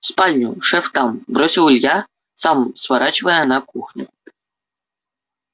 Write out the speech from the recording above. в спальню шеф там бросил илья сам сворачивая на кухню